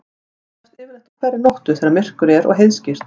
Þær sjást yfirleitt á hverri nóttu þegar myrkur er og heiðskírt.